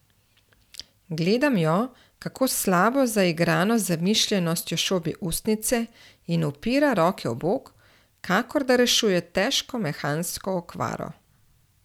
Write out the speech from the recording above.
Gledam jo, kako s slabo zaigrano zamišljenostjo šobi ustnice in upira roke v bok, kakor da rešuje težko mehansko okvaro.